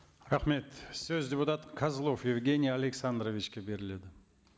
рахмет сөз депутат козлов евгений александровичке беріледі